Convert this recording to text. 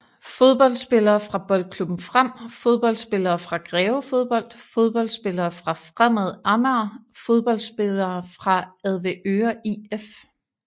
Fodboldspillere fra Boldklubben Frem Fodboldspillere fra Greve Fodbold Fodboldspillere fra Fremad Amager Fodboldspillere fra Avedøre IF